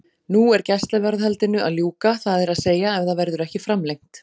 Nú er gæsluvarðhaldinu að ljúka, það er að segja ef það verður ekki framlengt.